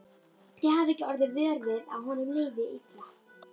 Þið hafið ekki orðið vör við að honum liði illa?